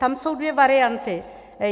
Tam jsou dvě varianty.